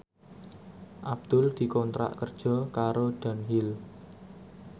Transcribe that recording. Abdul dikontrak kerja karo Dunhill